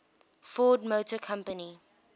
ford motor company